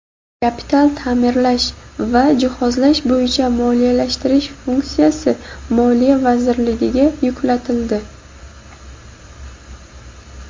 kapital taʼmirlash va jihozlash bo‘yicha moliyalashtirish funksiyasi Moliya vazirligiga yuklatildi.